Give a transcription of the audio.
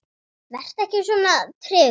Vertu ekki svona tregur, maður!